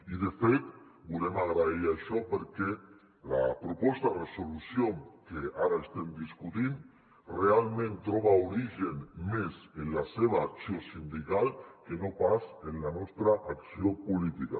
i de fet volem agrair això perquè la proposta de resolució que ara estem discutint realment troba origen més en la seva acció sindical que no pas en la nostra acció política